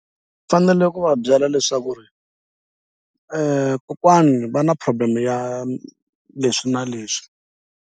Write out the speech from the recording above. Fanele ku va byela leswaku ri kokwani va na problem ya leswi na leswi.